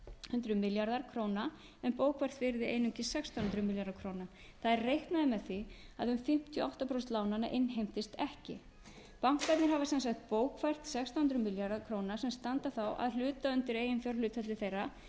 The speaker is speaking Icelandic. hundruð milljarðar króna en bókfært virði einungis sextán hundruð milljarðar króna það er reiknað er með því að um fimmtíu og átta prósent lánanna innheimtist ekki bankarnir hafa sem sagt bókfært sextán hundruð milljarða króna sem standa þá að hluta undir eiginfjárhlutfalli þeirra